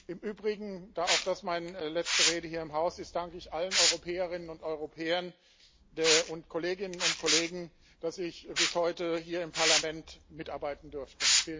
Im Übrigen Da dies meine letzte Rede hier im Haus ist, danke ich allen Europäerinnen und Europäern, den Kolleginnen und Kollegen, dass ich bis heute hier im Parlament mitarbeiten durfte.